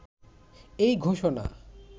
এই ঘোষণা